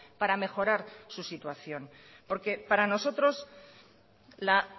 para mejorar su situación porque para nosotros la